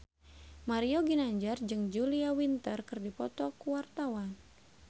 Mario Ginanjar jeung Julia Winter keur dipoto ku wartawan